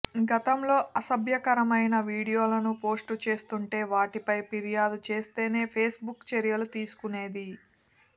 గతం లో అసభ్యకరమైన వీడియోలను పోస్టు చేస్తుంటే వాటిపై ఫిర్యాదు చేస్తేనే ఫేస్బుక్ చర్యలు తీసుకునేది